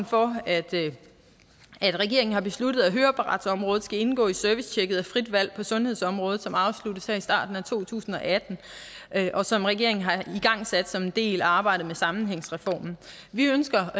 for at regeringen har besluttet at høreapparatsområdet skal indgå i servicetjekket af frit valg på sundhedsområdet som afsluttes her i starten af to tusind og atten og som regeringen har igangsat som en del af arbejdet med sammenhængsreformen vi ønsker